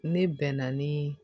Ne bɛn na ni